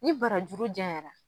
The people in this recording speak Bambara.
Ni barajuru jɛnɲɛra.